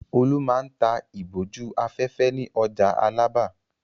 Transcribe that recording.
Olú máa ń ta ìbòjú-afẹ́fẹ́ ní ọjà Alábà.